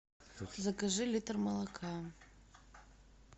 закажи литр молока